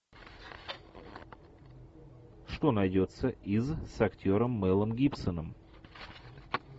что найдется из с актером мэлом гибсоном